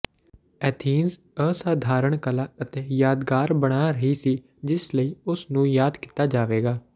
Athens ਅਸਾਧਾਰਣ ਕਲਾ ਅਤੇ ਯਾਦਗਾਰ ਬਣਾ ਰਹੀ ਸੀ ਜਿਸ ਲਈ ਉਸ ਨੂੰ ਯਾਦ ਕੀਤਾ ਜਾਵੇਗਾ